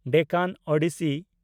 Deccan Odyssey